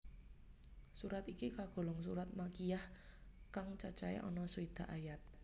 Surat iki kagolong surat Makkiyah kang cacahe ana swidak ayat